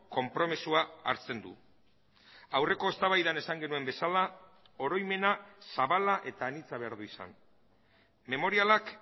konpromisoa hartzen du aurreko eztabaidan esan genuen bezala oroimena zabala eta anitza behar du izan memorialak